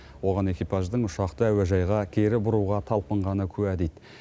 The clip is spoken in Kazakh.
оған экипаждың ұшақты әуежайға кері бұруға талпынғаны куә дейді